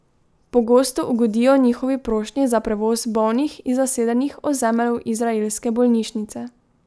Pogosto ugodijo njihovi prošnji za prevoz bolnih iz zasedenih ozemelj v izraelske bolnišnice.